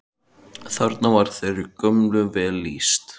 Þarna var þeirri gömlu vel lýst.